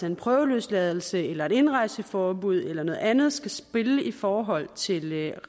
om prøveløsladelse eller indrejseforbud eller noget andet skal spille i forhold til